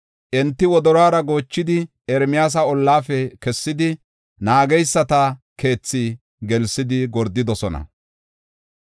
Enti wodoruwara goochidi, Ermiyaasa ollaafe kessidi, naageysata keethi gelsidi gordidosona.